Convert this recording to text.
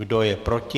Kdo je proti?